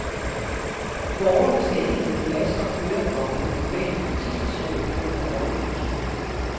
Borgerne skal ikke hente pas og kørekort på den lokale politistation, men på rådhuset.